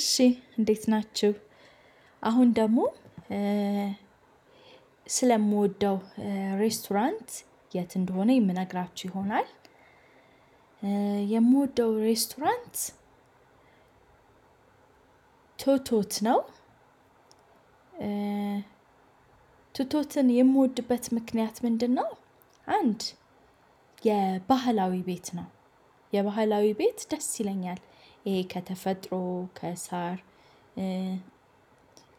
እሺ እንዴት ናችሁ። አሁን ደግሞ ስለምወደው ሬስቶራንት የት እንደሆነ የምነግራችሁ ይሆናል። የምወደው ሬስቶራንት ቶቶት ነው። ቶቶትን የምወድበት ምክንያት ምንድነው? አንድ የባህላዊ ቤት ነው። የባህላዊ ቤት ደስ ይለኛል። ይሄ ከተፈጥሮ ከሳር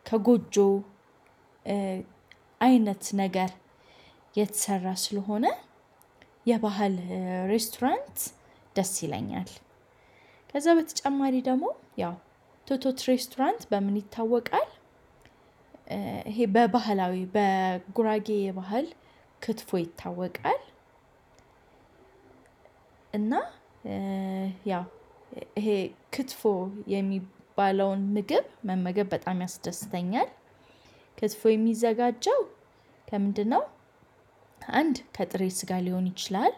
ከጎጆ አይነት ነገር የተሰራ ስለሆነ የባህል ሬስቶራንት ደስ ይለኛል። ከዛ በተጨማሪ ደግሞ ያው ቶቶት ሬስቶራንት በምን ይታወቃል? ይሄ በባህላዊ በጉራጌ ባህል ክትፎ ይታወቃል። እና ያው ይሄ ክትፎ የሚባለውን ምግብ መመገብ በጣም ያስደስተኛል። ክትፎ የሚዘጋጀው ከምንድነው? አንድ ከጥሬ ስጋ ሊሆን ይችላል።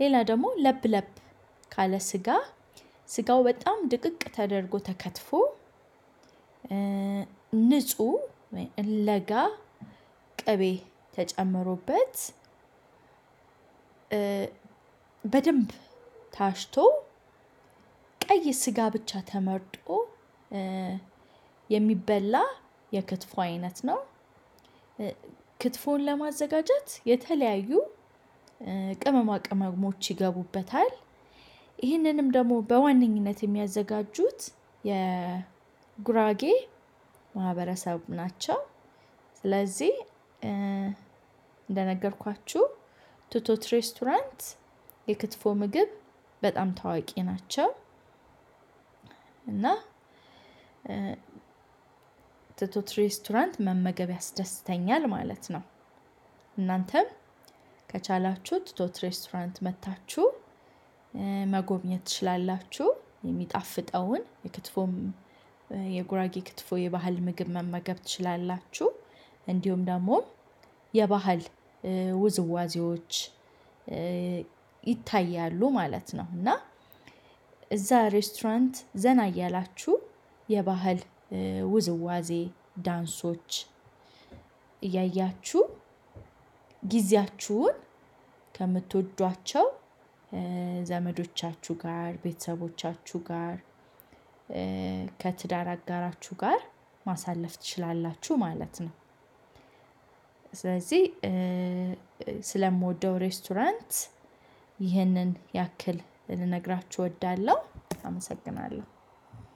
ሌላ ደግሞ ለብ ለብ ካለ ስጋ ስጋው በጣም ድቅቅ ተደርጎ ተከትፎ ንጹህ ለጋ ቅቤ ተጨምሮበት በደንብ ታሽቶ ቀይ ስጋ ብቻ ተመርጦ የሚበላ የክትፎ አይነት ነው። ክትፎን ለማዘጋጀት የተለያዩ ቅመማ ቅመሞች ይገቡበታል። ይህንንም ደግሞ በዋነኝነት የሚያዘጋጁት የጉራጌ ማህበረሰብ ናቸው። ስለዚህ እንደነገርኳችሁ ቶቶት ሬስቶራንት የክትፎ ምግብ በጣም ታዋቂ ናቸው። እና ቶቶት ሬስቶራንት መመገብ ያስደስተኛል ማለት ነው። እናንተም ከቻላችሁ ቶቶት ሬስቶራንት መጥታችሁ መጎብኘት ትችላላችሁ የሚጣፍጠውን የክትፎም የጉራጌ ክትፎ የባህል ምግብ መመገብ ትችላላችሁ። እንዲሁም ደግሞ የባህል ውዝዋዜዎች ይታያሉ ማለት ነው። እና እዛ ሬስቶራንት ዘና እያላችሁ የባህል ውዝዋዜ ዳንሶች እያያችሁ ጊዜያችሁን ከምትወዷቸው ዘመዶቻችሁ ጋር ቤተሰቦቻችሁ ጋር ከትዳር አጋራችሁ ጋር ማሳለፍ ትችላላችሁ ማለት ነው። ስለዚህ ስለምወደው ሬስቶራንት ይህንን ያክል ልነግራችሁ እወዳለሁ። አመሰግናለሁ።